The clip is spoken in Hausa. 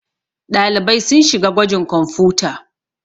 ɗalibai sun shiga gwajin kwamfuta